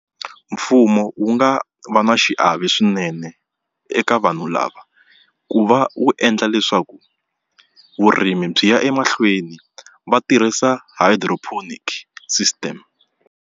Mfumo wu nga va na xiave swinene eka vanhu lava ku va wu endla leswaku vurimi byi ya emahlweni va tirhisa hydroponic system.